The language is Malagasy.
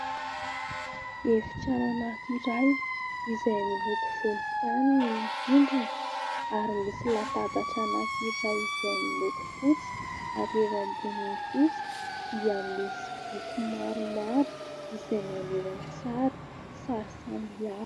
Efitrano anankiray izay miloko volontany ny rindrina, ary misy latabatra anankiray izay miloko fotsy, ary eo amboniny kosa dia misy boky maromaro izay maneho an-tsary sary samihafa.